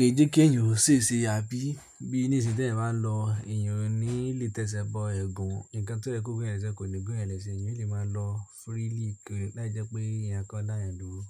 kì í jẹ́ kí èèyàn ò ṣe ṣe àbí bí ní ìsìn tẹ lẹ bá lọ, èèyàn ò ní lè tẹṣẹ bọ ẹ̀gún. Ǹkan tó jẹ kó gúnyàn lẹ ṣe kò ni gún eeyan lese, èèyàn lè máa lọ freely láì jẹ́ pé eeyan kkonkon daayan dúró.